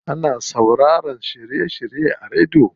Ana sauraroyin shiry shirye a rediyo.